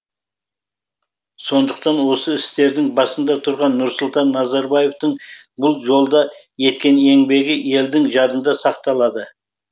сондықтан осы істердің басында тұрған нұрсұлтан назарбаевтың бұл жолда еткен еңбегі елдің жадында сақталады